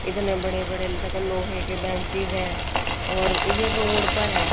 इतने बड़े बड़े देखो लोहे के बेंचेस हैं और ये रोड पर हैं।